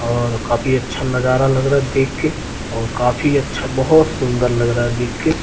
और काफी अच्छा नजरा लग रहा है देखके और काफी अच्छा बहोत सुंदर लग रहा देख के।